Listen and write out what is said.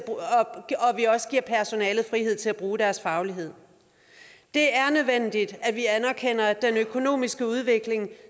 vi også giver personalet frihed til at bruge deres faglighed det er nødvendigt at vi anerkender at den økonomiske udvikling